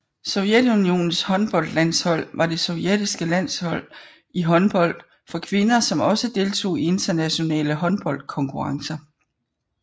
Sovjetunionens håndboldlandshold var det sovjetiske landshold i håndbold for kvinder som også deltog i internationale håndboldkonkurrencer